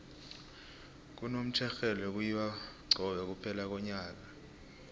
kunomtjherhelwe kuyiwa cobe kuphela konyaka